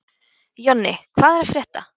Jonni, hvað er að frétta?